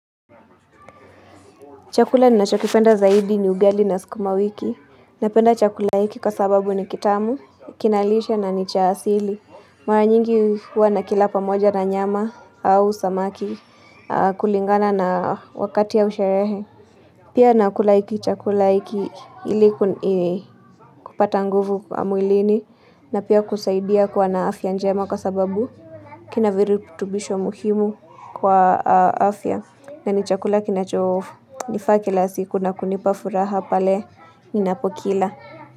Chakula ninachokipenda zaidi ni ugali na sukuma wiki. Napenda chakula hiki kwa sababu ni kitamu, kinalishwa na nicha asili. Mara nyingi huwanakila pamoja na nyama au samaki kulingana na wakati au sherehe. Pia nakula hiki chakula hiki ilikupata nguvu mwilini na pia kusaidia kwawa na afya njema kwa sababu kina viritubisho muhimu kwa afya na nichakula kinacho nifaa kila siku na kunipa furaha pale ninapokila.